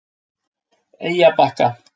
Eyjabakka